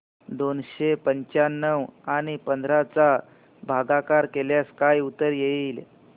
दोनशे पंच्याण्णव आणि पंधरा चा भागाकार केल्यास काय उत्तर येईल